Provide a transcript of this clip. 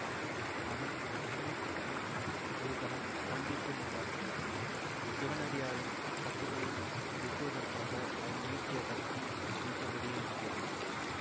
அவன் துணுக்குற்று ஒரு கணம் ஸ்தம்பித்து நின்றான் சிவனடியாரின் கட்டுக்களை வெட்டுவதற்காக அவன் நீட்டிய கத்தி நீட்டியபடியே இருந்தது